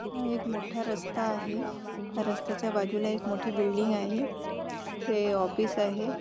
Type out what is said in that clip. हा एक मोठा रस्ता आहे ह्या रस्त्याच्या बाजूला एक मोठी बिल्डिंग आहे येथे ऑफिस आहे.